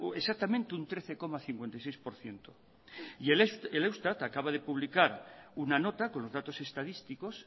exactamente un trece coma cincuenta y seis por ciento y el eustat acaba de publicar una nota con los datos estadísticos